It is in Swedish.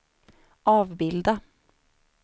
avbilda